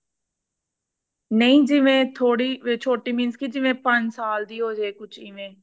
ਨਹੀਂ ਜਿਵੇ ਥੋੜੀ ਛੋਟੀ means ਜਿਵੇ ਪੰਜ ਸਾਲ ਦੀ ਹੋਜੇ ਕੁਛ ਇਵੇਂ